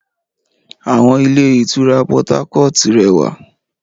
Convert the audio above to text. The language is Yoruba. Àwọn ilé ìtura Portharcourt rẹwà